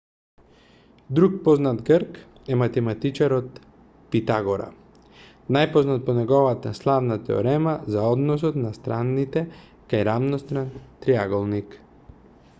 друг познат грк е математичарот питагора најпознат по неговата славна теорема за односот на страните кај рамностран триаголник